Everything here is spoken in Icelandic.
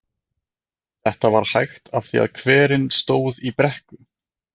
Þetta var hægt af því að hverinn stóð í brekku.